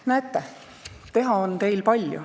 Näete, teha on teil palju.